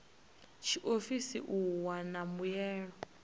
a tshiofisi u wana mbuelo